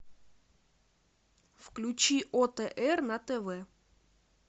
включи отр на тв